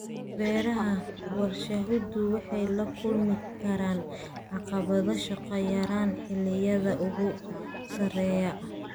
Beeraha warshaduhu waxay la kulmi karaan caqabado shaqo yaraan xilliyada ugu sarreeya.